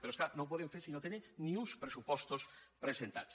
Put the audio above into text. però és clar no ho poden fer si no tenen ni uns pressupostos presentats